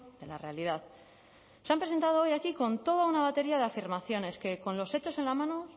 de la realidad se han presentado hoy aquí con toda una batería de afirmaciones que con los hechos en la mano